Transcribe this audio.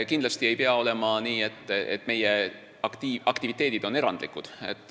Kindlasti ei pea olema nii, et meie aktiviteedid on erandlikud.